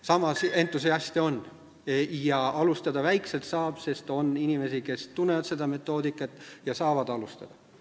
Samas, entusiaste on – väikselt alustada saab, sest on inimesi, kes tunnevad metoodikat ja saavad midagi ära teha.